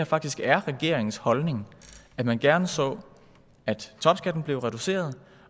faktisk er regeringens holdning at man gerne så at topskatten blev reduceret